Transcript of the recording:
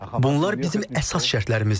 Bunlar bizim əsas şərtlərimizdir.